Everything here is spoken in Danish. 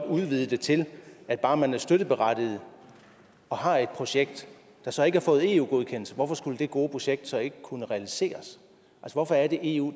udvide det til at bare man er støtteberettiget og har et projekt der så ikke har fået eu godkendelse og hvorfor skulle det gode projekt så ikke kunne realiseres hvorfor er det eu